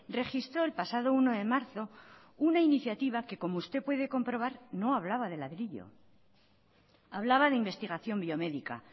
registró el pasado uno de marzo una iniciativa que como usted puede comprobar no hablaba de ladrillo hablaba de investigación biomédica